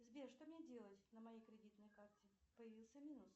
сбер что мне делать на моей кредитной карте появился минус